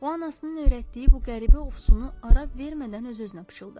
O anasının öyrətdiyi bu qəribə ofsunu araba vermədən öz-özünə pıçıldadı.